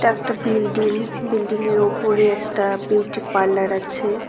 এটা একটা বিল্ডিং বিল্ডিংয়ের ওপরে একটা বিউটি পার্লার আছে।